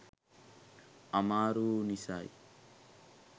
අමාරැ වු නිසයි.